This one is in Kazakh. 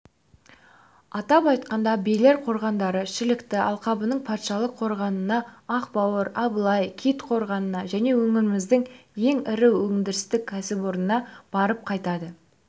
атап айтқанда берел қорғандары шілікті алқабының патшалық қорғанына ақбауыр абылай кит қорғанына және өңіріміздің ең ірі өндірістік кәсіпорнына барып қайтады